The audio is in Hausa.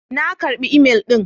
Na karɓi imel ɗin.